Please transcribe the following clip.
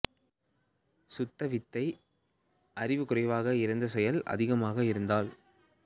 சுத்த வித்தை அறிவு குறைவாக இருந்து செயல் அதிகமாக இருத்தல்